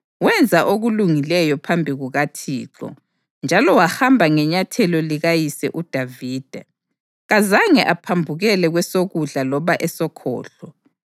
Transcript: Wenza okulungileyo phambi kukaThixo njalo wahamba ngenyathelo likayise uDavida, kazange aphambukele kwesokudla loba esokhohlo.